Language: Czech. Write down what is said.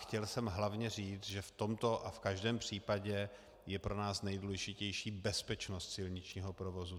Chtěl jsem hlavně říct, že v tomto a v každém případě je pro nás nejdůležitější bezpečnost silničního provozu.